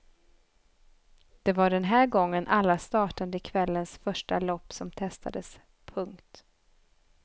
Det var den här gången alla startande i kvällens första lopp som testades. punkt